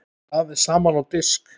Raðið saman á disk.